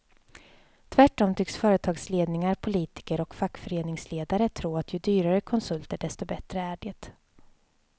Tvärtom tycks företagsledningar, politiker och fackföreningsledare tro att ju dyrare konsulter desto bättre är det.